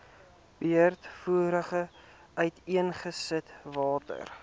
breedvoerig uiteengesit watter